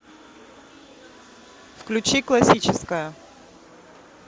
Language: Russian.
включи классическая